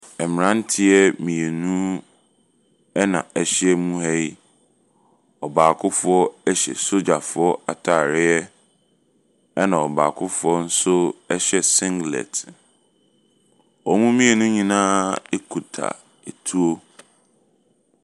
Mmeranteɛ mmienu na wɔahyia mu ha yi. Ɔbaakofoɔ hyɛ sogyafoɔ atareɛ, ɛnna ɔbaakofoɔ nso hyɛ singlet. Wɔn mmienu nyinaa kuta etuo.